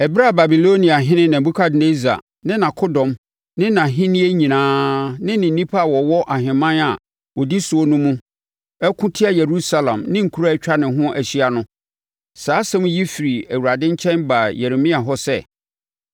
Ɛberɛ a Babiloniahene Nebukadnessar ne nʼakodɔm ne nʼahennie nyinaa ne nnipa a wɔwɔ ahemman a ɔdi soɔ no mu reko tia Yerusalem ne nkuro a atwa ne ho ahyia no, saa asɛm yi firi Awurade nkyɛn baa Yeremia hɔ sɛ,